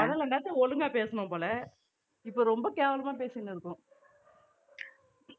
ஒழுங்கா பேசணும் போல இப்போ ரொம்ப கேவலமா பேசின்னு இருக்கோம்